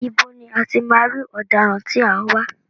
Ibo ni a ti máa rí ọ̀daràn tí a ń wá?